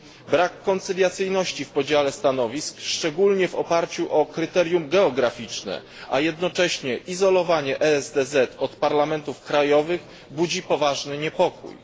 Brak koncyliacyjności w podziale stanowisk, szczególnie w oparciu o kryterium geograficzne, a jednoczesne izolowanie ESDZ od parlamentów krajowych budzi poważny niepokój.